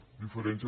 la diferència